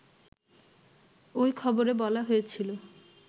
ওই খবরে বলা হয়েছিল